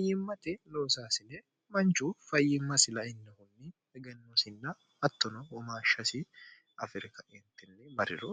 ayyimmati loosaasine manchu fayyimmasi lainnohunni egennosinna hattono womaashshasi afiri ka'entinni mariro